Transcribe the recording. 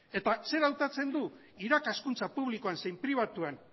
eta zer hautatzen du irakaskuntza publikoan zein pribatuan